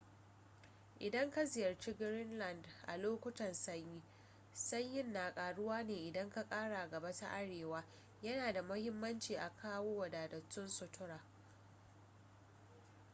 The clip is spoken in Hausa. idan ka ziyarci greenland a lokutan sanyi sanyin na karuwa ne idan ka kara gaba ta arewa yana da muhimmanci a kawo wadatattun sutura